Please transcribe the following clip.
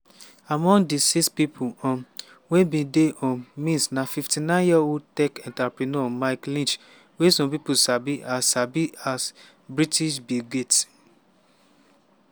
among di six pipo um wey bin dey um miss na 59-year-old tech entrepreneur mike lynch wey some pipo sabi as sabi as "british bill gates".